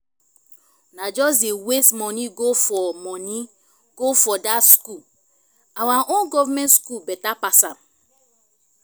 una just dey waste money go for money go for that school our own government school better pass am